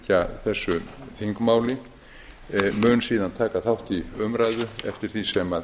fylgja þessu þingmáli mun síðan taka þátt í umræðu eftir því sem